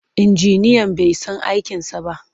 Injiniyan bai san aikinsa ba.